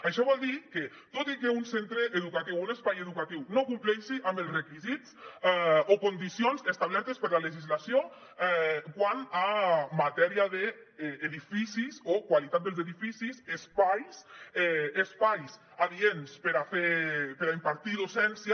això vol dir que tot i que un centre educatiu un espai educatiu no compleixi amb els requisits o condicions establertes per la legislació quant a matèria d’edificis o qualitat dels edificis espais espais adients per impartir docència